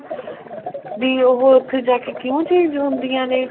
ਵੀ ਉਹ ਉੱਥੇ ਜਾਕੇ ਕਿਉਂ change ਹੁੰਦੀਆਂ ਨੇ